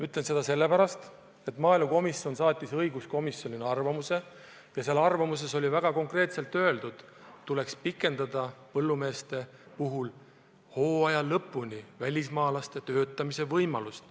Ütlen seda sellepärast, et maaelukomisjon saatis õiguskomisjonile arvamuse ja selles arvamuses oli väga konkreetselt öeldud, et põllumeeste puhul tuleks hooaja lõpuni pikendada välismaalaste töötamise võimalust.